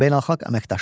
Beynəlxalq əməkdaşlıq.